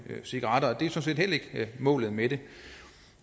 cigaretter det er sådan set heller ikke målet med det